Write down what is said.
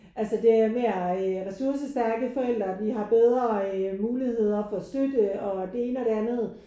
Altså der er mere ressourcestærke forældre og de har bedre muligheder for at støtte og det ene og det andet